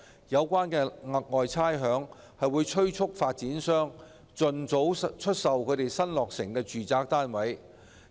有關的"額外差餉"會催促發展商盡早出售新落成的住宅單位。